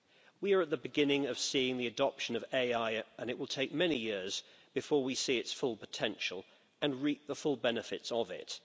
We are at the beginning of seeing the adoption of AI and it will take many years before we see its full potential and reap the full benefits of it.